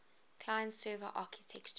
client server architecture